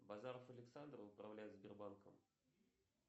базаров александр управляет сбербанком